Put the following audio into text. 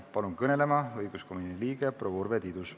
Palun kõnelema õiguskomisjoni liikme proua Urve Tiiduse.